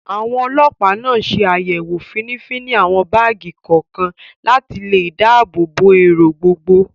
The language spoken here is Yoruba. Àwọn Ọlọpa náà ṣe àyẹ̀wò finifini àwọn báàgì kọ̀ọ̀kan, láti lè dáàbò bo èrò gbogbo